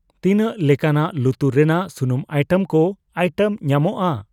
ᱛᱤᱱᱟᱹᱜ ᱞᱮᱠᱟᱱᱟᱜ ᱞᱩᱛᱩᱨ ᱨᱮᱱᱟᱜ ᱥᱩᱱᱩᱢ ᱟᱭᱴᱮᱢ ᱠᱚ ᱟᱭᱴᱮᱢ ᱧᱟᱢᱚᱜᱚᱠᱼᱟ ?